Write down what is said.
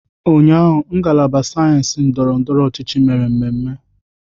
Ụnyahụ, ngalaba sayensị ndọrọ ndọrọ ọchịchị mere mmemme.